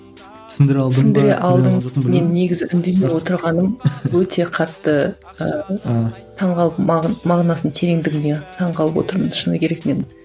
мен негізі үндемей отырғаным өте қатты ыыы таңғалып мағынасының тереңдігіне таң қалып отырмын шыны керек менің